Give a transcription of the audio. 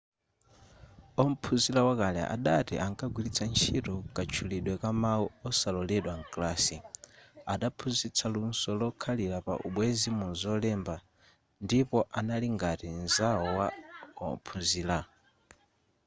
ophunzira wakale adati ‘ankagwiritsa ntchito katchulidwe ka mawu kosaloledwa mkalasi adaphunzitsa luso lokhalira pa ubwenzi muzolemba ndipo anali ngati nzawo wa ophunzira.’